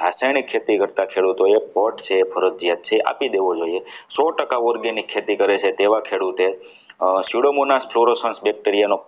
રાસાયણિક ખેતી કરતા ખેડૂતોએ છે એ ફરજિયાત છે આપી દેવું જોઈએ સો ટકા organic ખેડૂત ખેતી કરે છે તેવા ખેડૂતો pseudomon bacteria નો